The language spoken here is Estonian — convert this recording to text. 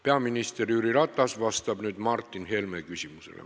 Peaminister Jüri Ratas vastab nüüd Martin Helme küsimusele.